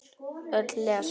Öll lesa.